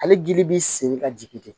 Ale gili bi sen ka jigin ten